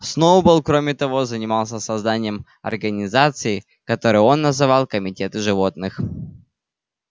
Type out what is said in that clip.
сноуболл кроме того занимался созданием организаций которые он называл комитеты животных